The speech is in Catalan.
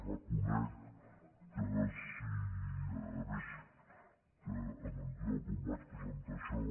reconec que en el lloc on vaig presentar això